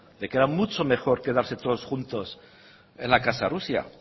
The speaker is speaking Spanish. de que era mucho mejor quedarse todos juntos en la casa de rusia